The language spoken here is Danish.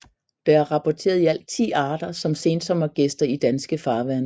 Der er rapporteret i alt 10 arter som sensommergæster i danske farvande